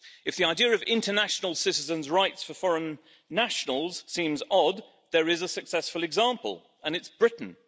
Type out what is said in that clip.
If the idea of international citizens' rights for foreign nationals seems odd, there is a successful example and it's Britain.